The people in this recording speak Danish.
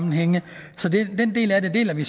den del af det deler vi